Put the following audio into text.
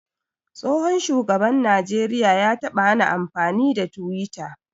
Tsohon shugaban najeriya ya taɓa hana amfani da twitter.